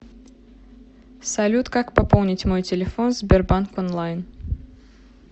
салют как пополнить мой телефон в сбербанк онлайн